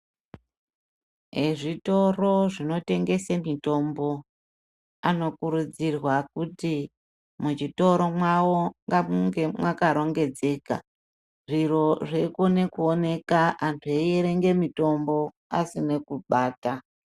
Eezvitoro zvinotengese mitombo, anokurudzirwa kuti muchitoro mwavo ngamunge mwakarongedzeka, zviro zveikone kuoneka antu eitenge mitombo asine kubata.